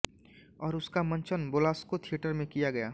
और उसका मंचन बेलास्को थिएटर में किया गया